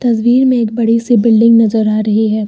तस्वीर में एक बड़ी सी बिल्डिंग नजर आ रही है।